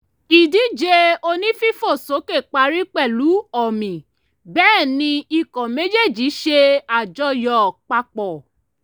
ìdíje onífífòsókè parí pẹ̀lú ọ̀mì bẹ́ẹ̀ ni ikọ̀ méjéèjì ṣe àjọyọ̀ papọ̀